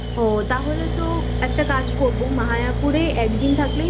তাহলে তো একটা কাজ করবো মায়াপুরে একদিন থাকলেই maybe